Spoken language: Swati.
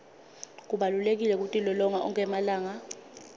kubalulekile kutilolonga onkhe emalanga